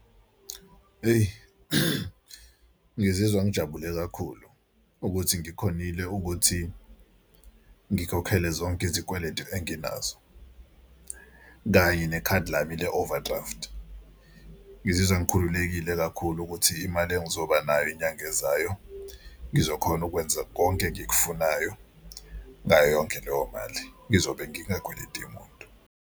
Eyi ngizizwa ngijabule kakhulu ukuthi ngikhonile ukuthi ngikhokhele zonke izikweletu enginazo kanye nekhadi lami le-overdraft. Ngizizwa ngikhululekile kakhulu ukuthi imali engizobanayo inyanga ezayo ngizokhona ukwenza konke engikufunayo ngayo yonke leyo mali. Ngizobe ngingakweleti muntu.